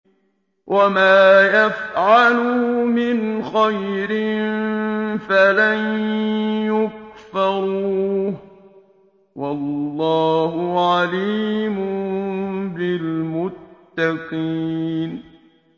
وَمَا يَفْعَلُوا مِنْ خَيْرٍ فَلَن يُكْفَرُوهُ ۗ وَاللَّهُ عَلِيمٌ بِالْمُتَّقِينَ